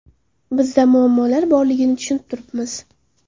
Bizda muammolar borligini tushunib turibmiz.